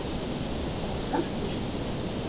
Var hann skakkur?